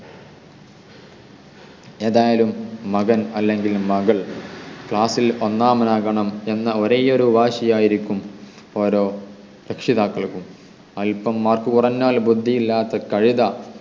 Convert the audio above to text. ഏതായാലും മകൻ അല്ലെങ്കിൽ മകൾ class ൽ ഒന്നാമൻ ആകണം എന്ന ഒരേയൊരു വാശിയായിരിക്കും ഓരോ രക്ഷിതാക്കൾക്കും അൽപം mark കുറഞ്ഞാൽ ബുദ്ധി ഇല്ലാത്ത കഴുത